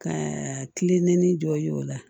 Ka kilennen dɔ y'o la